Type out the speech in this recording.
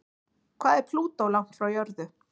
Hvað er Plútó langt frá jörðu?